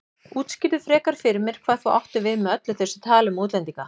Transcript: Útskýrðu frekar fyrir mér hvað þú áttir við með öllu þessu tali um útlendinga.